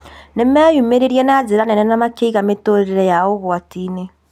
Nĩ meimire na njĩra nene na makĩiga mĩtũrĩre yao ũgwati-inĩ